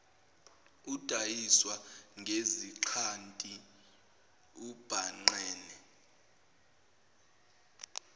udayiswa ngezixhanti ubhangqene